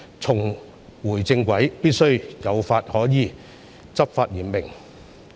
重回正軌必須有法可依，執法嚴明。